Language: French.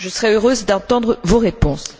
Je serai heureuse d'entendre vos réponses.